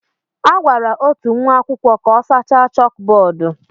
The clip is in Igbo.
A gwara otu nwa akwụkwọ ka ọ sachaa chókbódú